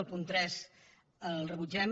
el punt tres el rebutgem